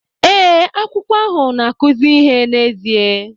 Ee, akwụkwọ ahụ na-akụzi ihe n'ezie